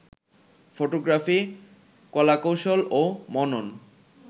photography কলাকৌশল ও মনন